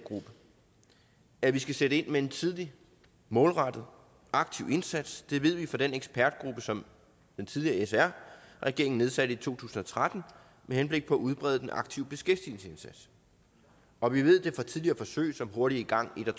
at vi skal sætte ind med en tidlig målrettet aktiv indsats det ved vi fra den ekspertgruppe som den tidligere sr regering nedsatte i to tusind og tretten med henblik på at udbrede den aktive beskæftigelsesindsats og vi ved det fra tidligere forsøg som hurtigt i gang en og